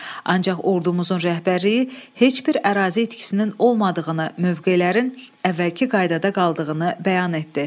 Ancaq ordumuzun rəhbərliyi heç bir ərazi itkisinin olmadığını, mövqelərin əvvəlki qaydada qaldığını bəyan etdi.